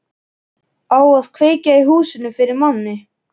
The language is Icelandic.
Á að kveikja í húsinu fyrir manni!